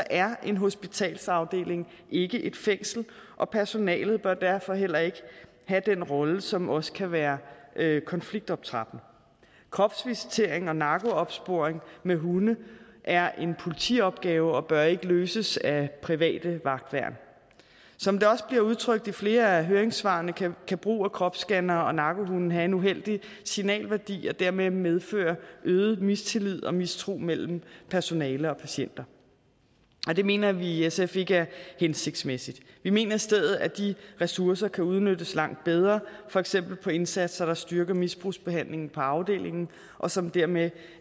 er en hospitalsafdeling ikke et fængsel og personalet bør derfor heller ikke have den rolle som også kan være konfliktoptrappende kropsvisitering og narkoopsporing med hunde er en politiopgave og bør ikke løses af private vagtværn som det også bliver udtrykt i flere af høringssvarene kan brug af kropscannere og narkohunde have en uheldig signalværdi og dermed medføre øget mistillid og mistro mellem personale og patienter det mener vi i sf ikke er hensigtsmæssigt vi mener i stedet at de ressourcer kan udnyttes langt bedre for eksempel på indsatser der styrker misbrugsbehandlingen på afdelingen og som dermed